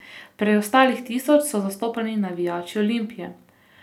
Preostalih tisoč so zastopali navijači Olimpije.